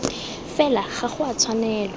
fela ga go a tshwanelwa